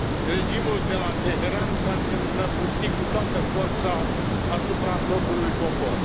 regimul de la Teheran s a năpustit cu toată forța asupra propriului popor.